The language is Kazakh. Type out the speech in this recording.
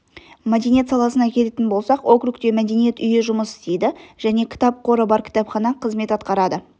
мәдениет саласына келетін болсақ округте мәдениет үйі жұмыс істейді және кітап қоры бар кітапхана қызмет атқарады